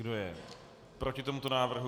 Kdo je proti tomuto návrhu?